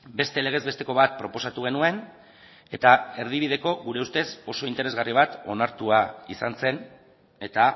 beste legez besteko bat proposatu genuen eta erdibideko gure ustez oso interesgarri bat onartua izan zen eta